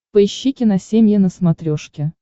поищи киносемья на смотрешке